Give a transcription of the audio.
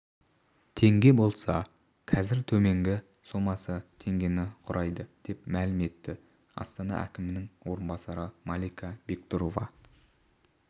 теңге болса қазір төменгі сомасы теңгені құрайды деп мәлім етті астана әкімінің орынбасары малика бектұрова